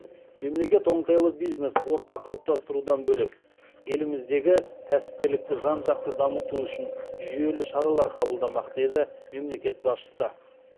мемлекет оңтайлы бизнес орта қалыптастырудан бөлек еліміздегі кәсіпкерлікті жан жақты дамыту үшін жүйелі шаралар қабылдамақ деді мемлекет басшысы